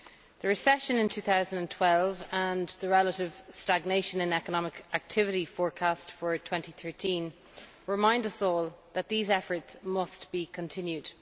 The recession in 2012 and the relative stagnation in economic activity forecast for 2013 remind us all that these efforts must be continued.